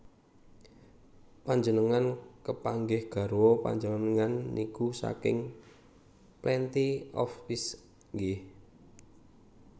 Panjenengan kepanggih garwa panjenengan niku saking Plenty of Fish nggeh